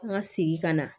An ka segin ka na